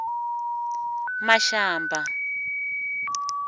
mashamba